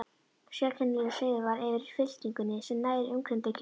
Sérkennilegur seiður var yfir fylkingunni sem nær umkringdi kirkjuna.